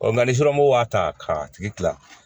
nka ni somɔgɔw b'a ta k'a tigi kila